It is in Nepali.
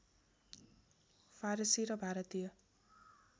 फारसी र भारतीय